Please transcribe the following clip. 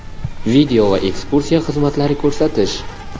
video va ekskursiya xizmatlari ko‘rsatish.